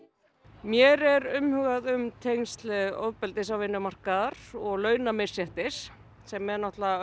mér er umhugað um tengsl ofbeldis og vinnumarkaðar og launamisréttis sem er